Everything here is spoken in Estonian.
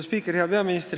Hea peaminister!